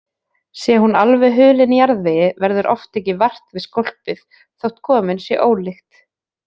Sé hún alveg hulin jarðvegi verður oft ekki vart við skólpið þótt komin sé ólykt.